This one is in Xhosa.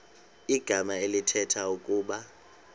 igama elithetha ukuba